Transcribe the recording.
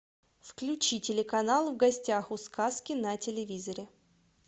включи телеканал в гостях у сказки на телевизоре